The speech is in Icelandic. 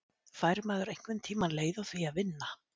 Fær maður einhvern tíma leið á því að vinna?